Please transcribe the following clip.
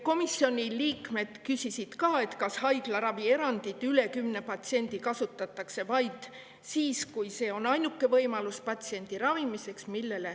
Komisjoni liikmed küsisid, kas kasutatakse enama kui kümne patsiendi puhul vaid siis, kui see on ainuke võimalus patsiendi ravimiseks.